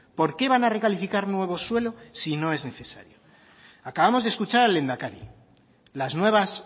por qué van a recalificar nuevo suelo si no es necesario acabamos de escuchar al lehendakari las nuevas